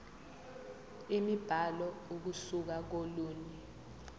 imibhalo ukusuka kolunye